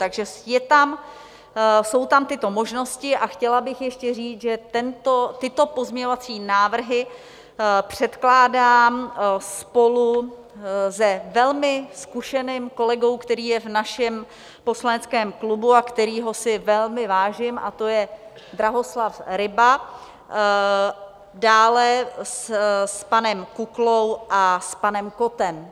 Takže jsou tam tyto možnosti a chtěla bych ještě říct, že tyto pozměňovací návrhy předkládám spolu s velmi zkušeným kolegou, který je v našem poslaneckém klubu a kterého si velmi vážím, a to je Drahoslav Ryba, dále s panem Kuklou a s panem Kottem.